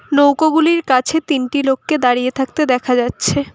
নৌকোগুলির কাছে তিনটি লোককে দাঁড়িয়ে থাকতে দেখা যাচ্ছে।